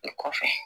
I kɔfɛ